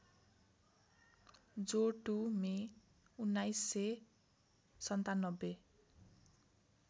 जो २ मे १९९७